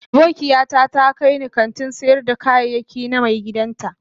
Abokiata ta kai ni kantin sayar da kayayyaki na maigidan ta